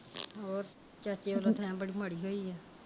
ਹੋਰ ਚਾਚੇ ਵਲੋਂ ਥੈ ਬੜੀ ਮਾੜੀ ਹੋਈ।